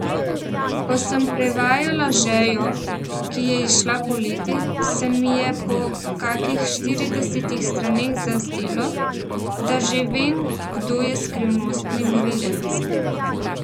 Ko sem prevajala Žejo, ki je izšla poleti, se mi je po kakih štiridesetih straneh zazdelo, da že vem, kdo je skrivnostni morilec.